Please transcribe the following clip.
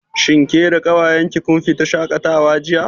Shin ke da ƙawayen ki kun fita shaƙatawa jiya?